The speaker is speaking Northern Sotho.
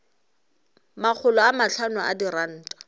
makgolo a mahlano a diranta